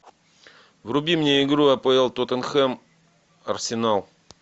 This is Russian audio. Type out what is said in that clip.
вруби мне игру апл тоттенхэм арсенал